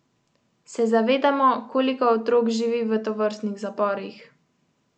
Se zavedamo, koliko otrok živi v tovrstnih zaporih?